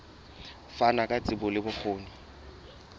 fana ka tsebo le bokgoni